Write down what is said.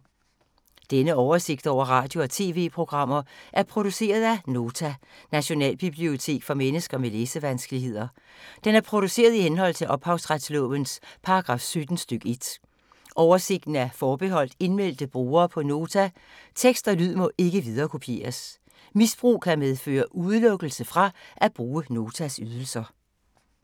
Denne oversigt over radio og TV-programmer er produceret af Nota, Nationalbibliotek for mennesker med læsevanskeligheder. Den er produceret i henhold til ophavsretslovens paragraf 17 stk. 1. Oversigten er forbeholdt indmeldte brugere på Nota. Tekst og lyd må ikke viderekopieres. Misbrug kan medføre udelukkelse fra at bruge Notas ydelser.